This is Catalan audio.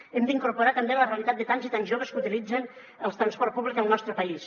hem d’incorporar també la realitat de tants i tants joves que utilitzen el transport públic al nostre país